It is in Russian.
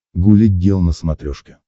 гуля гел на смотрешке